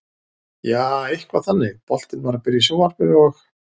Jaa, eitthvað þannig, boltinn var að byrja í sjónvarpinu og.